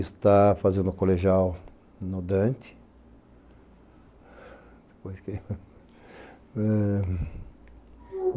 Está fazendo colegial no Dante.